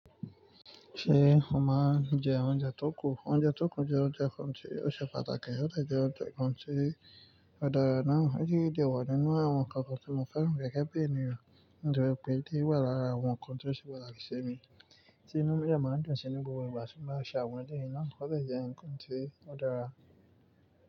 Ṣé o máa ń jẹ oúnjẹ tó kù? Oúnjẹ tó kù jẹ oúnjẹ kan tí ó ṣe pàtàkì, ó de jẹ oúnjẹ kan tí ó dára náà. Eleyii dè wà nínú àwọn ǹkan kan tí mo fẹ́ran gege bi èniyàn, nitori pe ti o wà lára àwọn ǹkan tí ó ṣe pàtàkì sí mi, tí inú mi de máa ń dùn sí ninú gbogbo ìgbà tí mo bá ṣàwọn èleyìí náà. Ó sì jẹ ǹkan tí ó dára.